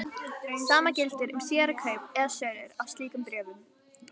Sama gildir um síðari kaup eða sölur á slíkum bréfum.